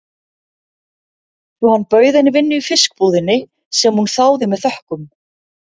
Svo hann bauð henni vinnu í fiskbúðinni, sem hún þáði með þökkum.